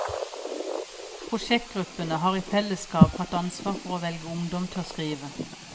Prosjektgruppene har i fellesskap hatt ansvar for å velge ungdom til å skrive.